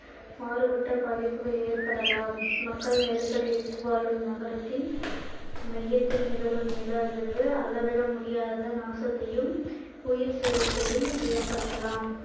மாறுபட்ட பாதிப்புகள் ஏற்படலாம் மக்கள் நெருக்கடியடித்து வாழும் நகரத்தின் மையத்தில் நிகழும் நில அதிர்வு அளவிட முடியாத நாசத்தையும் உயிர் சேதத்தையும் ஏற்படுத்தலாம்